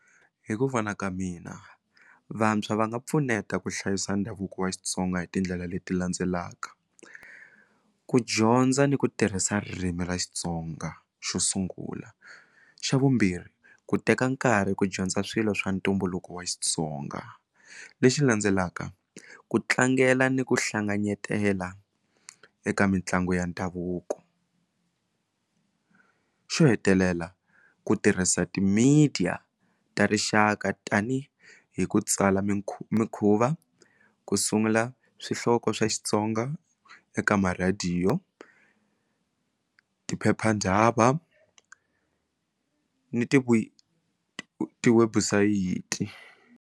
Hi ku vona ka mina vantshwa va nga pfuneta ku hlayisa ndhavuko wa Xitsonga hi tindlela leti landzelaka ku dyondza ni ku tirhisa ririmi ra Xitsonga xo sungula xa vumbirhi ku teka nkarhi ku dyondza swilo swa ntumbuluko wa Xitsonga lexi landzelaka ku tlangela ni ku hlanganyetela eka mitlangu ya ndhavuko xo hetelela ku tirhisa ti media ta rixaka tanihi hi ku tsala mikhuva ku sungula swihloko swa Xitsonga eka marhadiyo tiphepha ndaba ni ti tiwebusayiti.